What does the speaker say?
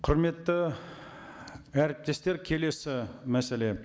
құрметті әріптестер келесі мәселе